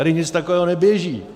Tady nic takového neběží.